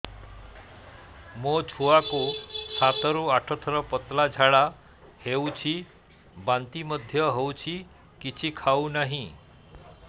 ମୋ ଛୁଆ କୁ ସାତ ରୁ ଆଠ ଥର ପତଳା ଝାଡା ହେଉଛି ବାନ୍ତି ମଧ୍ୟ୍ୟ ହେଉଛି କିଛି ଖାଉ ନାହିଁ